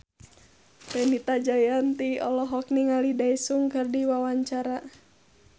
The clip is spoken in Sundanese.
Fenita Jayanti olohok ningali Daesung keur diwawancara